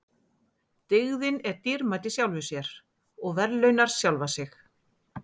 Dygðin er dýrmæt í sjálfri sér og verðlaunar sjálfa sig.